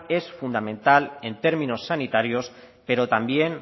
es fundamental en términos sanitarios pero también